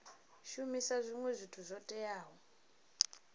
shumisa zwinwe zwithu zwo teaho